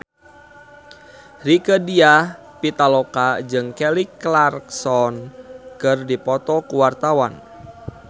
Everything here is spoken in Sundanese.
Rieke Diah Pitaloka jeung Kelly Clarkson keur dipoto ku wartawan